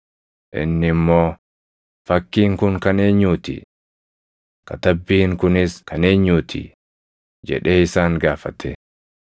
inni immoo, “Fakkiin kun kan eenyuu ti? Katabbiin kunis kan eenyuu ti?” jedhee isaan gaafate.